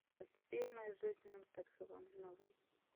фильмы с джейсоном стетхемом новые